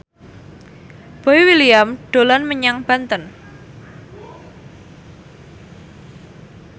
Boy William dolan menyang Banten